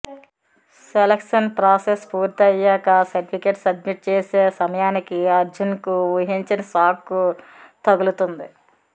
selection process పూర్తి అయ్యాక certificates submit చేసే సమయానికి అర్జున్ కు ఊహించని షాక్ తగులుతుంది